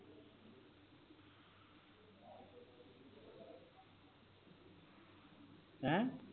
ਹੈਂ